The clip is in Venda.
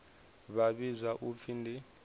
vha vhidzwa u pfi ndi